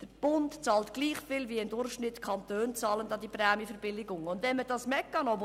Der Bund bezahlt gleich viel an die Prämienverbilligung, wie die Kantone im Durchschnitt bezahlen.